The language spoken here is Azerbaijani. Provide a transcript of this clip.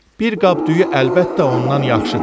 Bir qab düyü əlbəttə ondan yaxşıdır.